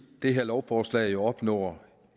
det her lovforslag opnår